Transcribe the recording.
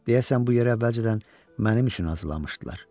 Deyəsən bu yer əvvəlcədən mənim üçün hazırlamışdılar.